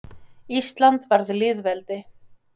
Ísland varð lýðveldi.